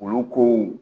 Olu kow